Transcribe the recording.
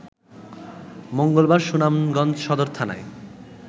মঙ্গলবার সুনামগঞ্জ সদর থানায়